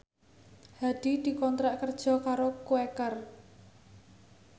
Hadi dikontrak kerja karo Quaker